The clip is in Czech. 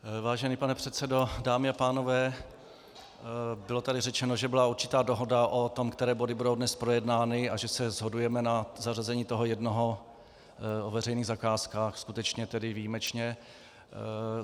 Vážený pane předsedo, dámy a pánové, bylo tady řečeno, že byla určitá dohoda o tom, které body budou dnes projednány, a že se shodujeme na zařazení toho jednoho o veřejných zakázkách, skutečně tedy výjimečně.